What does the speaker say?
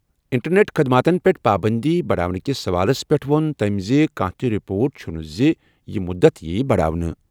Internet خٔدماتن پیٚٹھ پابٔنٛدی بَڑاونہٕ کِس سوالَس پٮ۪ٹھ ووٚن تٔمۍ زِ کانٛہہ تہِ رِپورٹ چھُنہٕ زِ یہِ مُدت یِیہِ بَڑاونہٕ۔